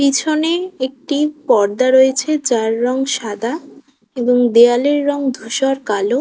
পিছনে একটি পর্দা রয়েছে যার রং সাদা এবং দেয়ালের রং ধোসার কালো।